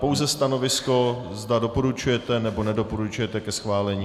Pouze stanovisko, zda doporučujete, nebo nedoporučujete ke schválení.